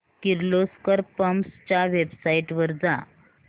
Kirloskar pumps च्या website वर जा